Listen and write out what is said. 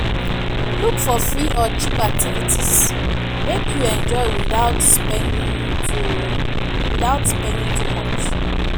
Look for free or cheap activities, make you enjoy witout spending too witout spending too much.